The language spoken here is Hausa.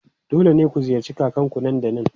Dole ne ku ziyarci kakanku nan da nan!